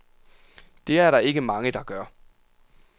Det er der ikke mange, der gør.